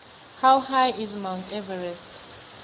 how high is mount everest